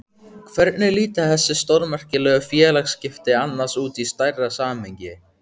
Hvernig líta þessi stórmerkilegu félagsskipti annars út í stærra samhengi?